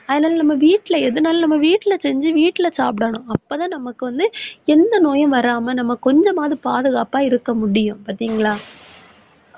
அதனால, நம்ம வீட்டுல எதுனாலும் நம்ம வீட்டுல செஞ்சு வீட்டுல சாப்பிடணும். அப்பதான், நமக்கு வந்து எந்த நோயும் வராம நம்ம கொஞ்சமாவது பாதுகாப்பா இருக்க முடியும் பாத்தீங்களா